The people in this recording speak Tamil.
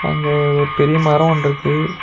அங்க ஒர் பெரிய மரோ ஒன்ருக்கு.